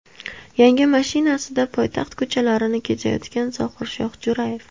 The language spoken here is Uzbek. Yangi mashinasida poytaxt ko‘chalarini kezayotgan Zohirshoh Jo‘rayev.